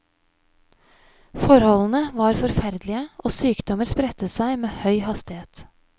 Forholdene var forferdelige og sykdommer spredte seg med høy hastighet.